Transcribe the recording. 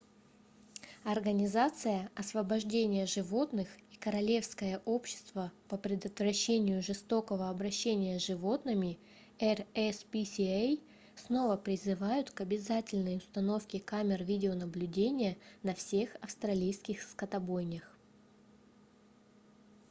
организация освобождение животных и королевское общество по предотвращению жестокого обращения с животными rspca снова призывают к обязательной установке камер видеонаблюдения на всех австралийских скотобойнях